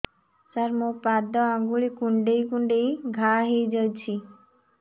ସାର ମୋ ପାଦ ଆଙ୍ଗୁଳି କୁଣ୍ଡେଇ କୁଣ୍ଡେଇ ଘା ହେଇଯାଇଛି